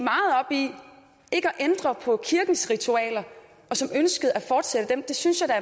ændre på kirkens ritualer og som ønskede at fortsætte dem det synes jeg